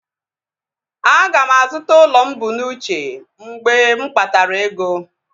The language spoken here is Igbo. Aga m azụta ụlọ mụ bu n'uche mgbe m kpatara ego